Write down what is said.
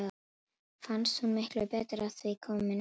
Fannst hún miklu betur að því komin en hann.